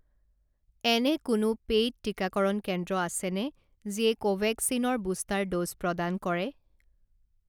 এনে কোনো পেইড টিকাকৰণ কেন্দ্ৰ আছেনে যিয়ে কোভেক্সিন ৰ বুষ্টাৰ ড'জ প্ৰদান কৰে